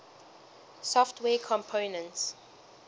software components